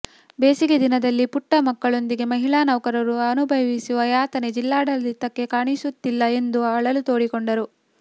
ಬೇಸಿಗೆ ದಿನದಲ್ಲಿ ಪುಟ್ಟ ಮಕ್ಕಳೊಂದಿಗೆ ಮಹಿಳಾ ನೌಕರರು ಅನುಭವಿಸುವ ಯಾತನೆ ಜಿಲ್ಲಾಡಳಿತಕ್ಕೆ ಕಾಣಿಸುತ್ತಿಲ್ಲ ಎಂದು ಅಳಲು ತೊಡಿಕೊಂಡರು